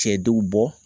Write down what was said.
Cɛ dɔw bɔ